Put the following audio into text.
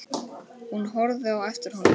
Hún horfði á eftir honum.